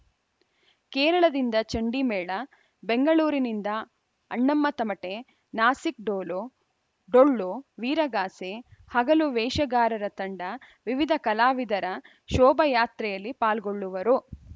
ಕೇರಳದಿಂದ ಚಂಡಿಮೇಳ ಬೆಂಗಳೂರಿನಿಂದ ಅಣ್ಣಮ್ಮ ತಮಟೆ ನಾಸಿಕ್‌ ಡೋಲು ಡೊಳ್ಳು ವೀರಗಾಸೆ ಹಗಲು ವೇಷಗಾರರ ತಂಡ ವಿವಿಧ ಕಲಾವಿದರ ಶೋಭಾಯಾತ್ರೆಯಲ್ಲಿ ಪಾಲ್ಗೊಳ್ಳುವರು